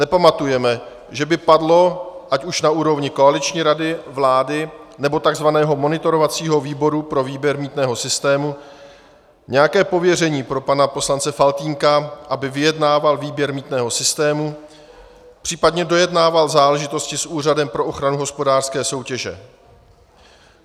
Nepamatujeme, že by padlo ať už na úrovni koaliční rady vlády, nebo tzv. monitorovacího výboru pro výběr mýtného systému nějaké pověření pro pana poslance Faltýnka, aby vyjednával výběr mýtného systému, případně dojednával záležitosti s Úřadem pro ochranu hospodářské soutěže.